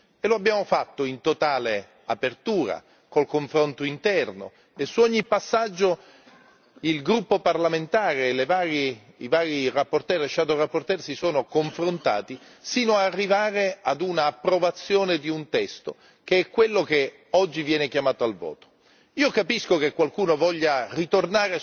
Nel negoziato bisogna cedere qualche cosa, e lo abbiamo fatto in totale apertura, col confronto interno, e su ogni passaggio il gruppo parlamentare, i vari relatori e relatori ombra si sono confrontati sino ad arrivare all'approvazione di un testo che è quello che oggi viene chiamato al voto.